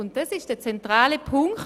Das war bisher der zentrale Punkt: